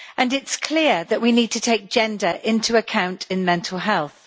It is clear that we need to take gender into account in mental health.